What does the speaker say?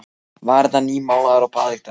Varirnar nýmálaðar og baðlykt af henni.